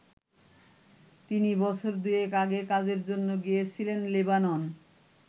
তিনি বছর দুয়েক আগে কাজের জন্য গিয়েছিলেন লেবানন।